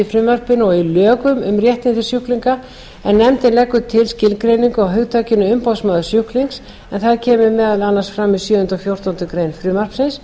frumvarpinu og í lögum um réttindi sjúklinga en nefndin leggur til skilgreiningu á hugtakinu umboðsmaður sjúklings en það kemur meðal annars fyrir í sjöunda og fjórtándu greinar frumvarpsins